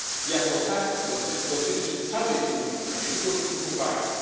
Jako taki dotyczy całej Unii, a nie tylko kilku państw.